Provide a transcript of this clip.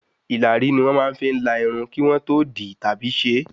Ìlàrí ni wón fi ń la Irun kí wọ́n tó di tàbí ṣé